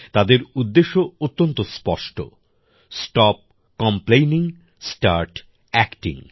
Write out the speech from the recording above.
তাদের উদ্দেশ্য অত্যন্ত স্পষ্ট স্টপ কমপ্লেনিং স্টার্ট অ্যাক্টিং